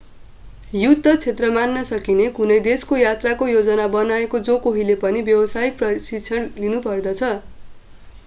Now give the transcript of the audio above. युद्ध क्षेत्र मान्न सकिने कुनै देशको यात्राको योजना बनाएका जो कोहीले पनि व्यवसायिक प्रशिक्षण लिनुपर्दछ